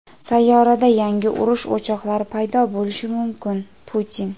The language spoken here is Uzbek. Sayyorada yangi urush o‘choqlari paydo bo‘lishi mumkin – Putin.